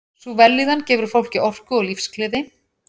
Sú vellíðan gefur fólki orku og lífsgleði.